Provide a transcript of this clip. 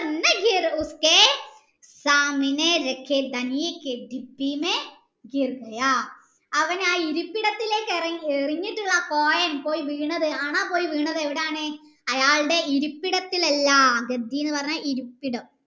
അവൻ ആ ഇരിപ്പിടത്തിലേക് എറിഞ്ഞിട്ട് ആ coin പോയി വീണത് അന പോയി വീണത് ഇരിപ്പിടത്തിലല്ല എന്ന് പറഞ്ഞാൽ ഇരിപ്പിടം